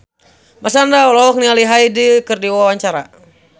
Marshanda olohok ningali Hyde keur diwawancara